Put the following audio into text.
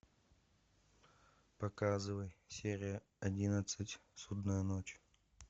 показывай серия одиннадцать судная ночь